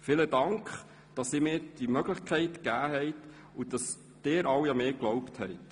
Vielen Dank, dass Sie alle mir diese Möglichkeit gegeben und an mich geglaubt haben.